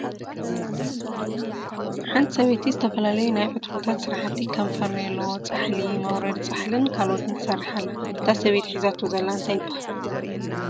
ሓንቲ ሰበይቲ ዝተፈላለዩ ናይ ዕትሮታት ስራሕቲ ከም ፈርኔሎ ፣ፃሕሊ፣ መውረዲ ፃሕሊን ካልኦትን ትሰርሕ ኣላ እታ ሰበይቲ ሒዛቶ ዘላ እንታይ ይበሃል?